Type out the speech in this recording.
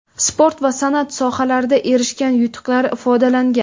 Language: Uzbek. sport va sanʼat sohalarida erishgan yutuqlari ifodalangan.